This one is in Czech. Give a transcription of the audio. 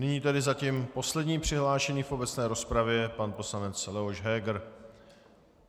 Nyní tedy zatím poslední přihlášený v obecné rozpravě, pan poslanec Leoš Heger.